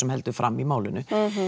heldur fram í málinu